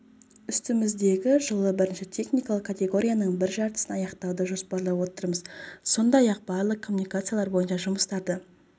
үстіміздегі жылы бірінші техникалық категорияның бір жартысын аяқтауды жоспарлап отырмыз сондай-ақ барлық коммуникациялар бойынша жұмыстарды